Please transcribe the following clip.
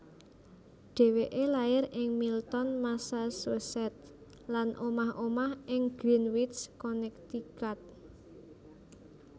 Dheweke lair ing Milton Massachusetts lan omah omah ing Greenwich Connecticut